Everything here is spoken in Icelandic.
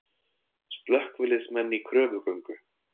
Slökkviliðsmenn í kröfugöngu